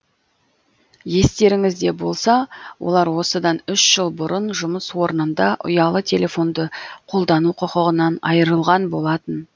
естеріңізде болса олар осыдан үш жыл бұрын жұмыс орнында ұялы телефонды қолдану құқығынан айырылған болатын